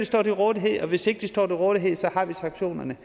stå til rådighed og hvis ikke de står til rådighed har vi sanktionerne